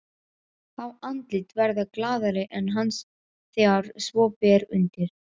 Fá andlit verða glaðari en hans þegar svo ber undir.